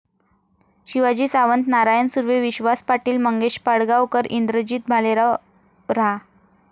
शिवाजी सावंत, नारायण सुर्वे, विश्वास पाटील, मंगेश पाडगावकर, इंद्रजित भालेराव, रा.